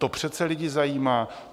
To přece lidi zajímá!